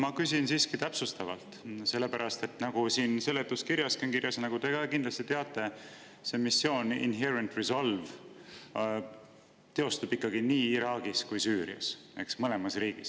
Ma küsin siiski täpsustavalt, sellepärast et seletuskirjaski on kirjas, nagu te ka kindlasti teate, et see missioon, Inherent Resolve, toimub ikkagi nii Iraagis kui Süürias, mõlemas riigis.